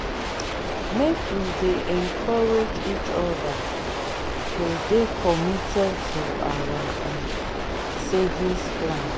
make we dey encourage each other to dey committed to our um savings plan.